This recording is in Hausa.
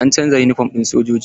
An canza yunifom ɗin sojoji.